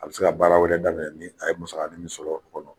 A bɛ se ka baara wɛrɛ daminɛ ni a ye musakanin min sɔrɔ o kɔnɔ